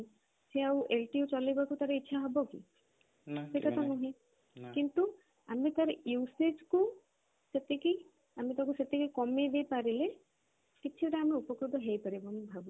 ସେ ଆଉ lte ଚଳେଇବାକୁ ଇଛା ହବ କି ନା ସେଟା ତ ନୁହେଁ କିନ୍ତୁ ଆମେ ତାର usage କୁ ସେତିକି ଆମେ ତାକୁ ସେତିକି କମେଇ ଦେଇ ପାରିଲେ କିଛି ତା ଆମେ ଉପକୃତ ହେଇ ପାରିବା ବୋଲି ମୁଁ ଭାବୁଛି